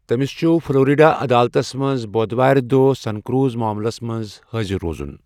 تٔمس چھ فلورِڈا عدالتس منز بودھوارِ دۄہ سنكروز معملس منز حٲضِر روزن ۔